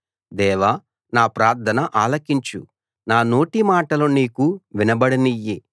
దేవా నా ప్రార్థన ఆలకించు నా నోటి మాటలు నీకు వినబడనియ్యి